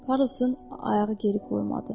Karlson ayağı geri qoymadı.